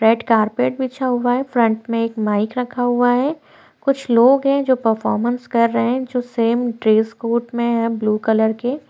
red carpet बिछा हुआ है फ्रंट मे एक माइक रखा हुआ है कुछ लोग हैं जो परफॉर्मेंस कर रहै हैं जो सेम ड्रेस कोड में है ब्लू कलर के--